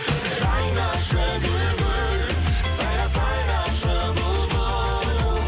жайнашы гүл гүл сайра сайрашы бұлбұл